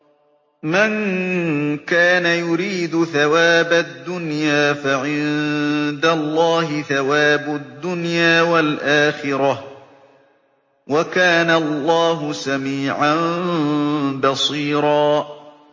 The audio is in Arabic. مَّن كَانَ يُرِيدُ ثَوَابَ الدُّنْيَا فَعِندَ اللَّهِ ثَوَابُ الدُّنْيَا وَالْآخِرَةِ ۚ وَكَانَ اللَّهُ سَمِيعًا بَصِيرًا